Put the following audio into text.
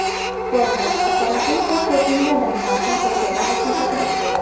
Forbes: Poroshenko Putinga Donbassni qo‘shib olishni taklif qildi.